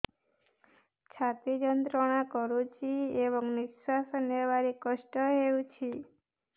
ଛାତି ଯନ୍ତ୍ରଣା କରୁଛି ଏବଂ ନିଶ୍ୱାସ ନେବାରେ କଷ୍ଟ ହେଉଛି